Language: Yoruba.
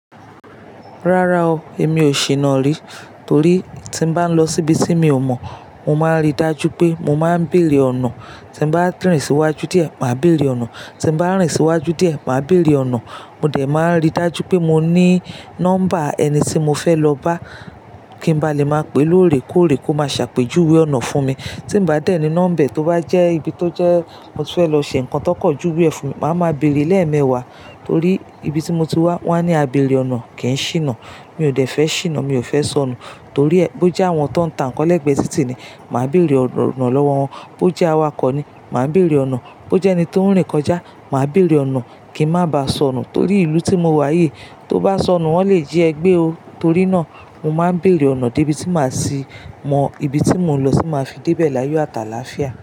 Rárá o, èmi ò ṣìnà rí torí tí n bá ń lọ síbi tí mi ò mọ̀, mo máa ń rí dájú pé mo máa ń béèrè ọ̀nà. Tí n bá ń rìn síwájú díẹ̀, màá béèrè ọ̀nà. Tí n bá ń rìn síwájú díẹ̀, màá béèrè ọ̀nà. Mo dẹ̀ máa ń rí dájú pé mo ní nọ́mbà ẹni tí mo fẹ́ lọ bá kí ń ba lè máa pè lóòrè kóòrè kó máa ṣàpèjúwe ọ̀nà fún mi. Tí n bá dẹ̀ ní nọ́mbà tó bá jẹ́ ibi tó jẹ́ mo ti fẹ́ lọ ṣe nǹkan tó kọ̀ jù we e fun, màá ma béèrè lẹ́ẹ̀mẹ́wàá torí ibi tí mo ti wá, wọ́n á ní abèrè ọ̀nà kì í ṣìnà. Mi ò dẹ̀ fẹ́ ṣìnà, mi ò fẹ́ sọnù torí e bó jẹ́ àwọn tón tà ń kọ́ lẹ́ẹ̀gbẹ́ títì ni, màá béèrè ọ̀nà lọ́wọ́ wọn. Bó jẹ́ awakọ̀ ni, màá béèrè ọ̀nà. Bó jẹ́ ẹni tó ń rìn kọjá, màá béèrè ọ̀nà kí ń má ba sọnù torí ìlú tí mo wá yìí, tó bá sọnù, wọ́n lè jí ẹ gbé o. Torí náà, mo máa ń béèrè ọ̀nà dé ibi tí màá sì mọ ibi tí mò ń lọ sì máa fi débé láyé ọ̀táàláfiá.